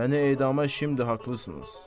Məni edamda kimdi haqlısınız.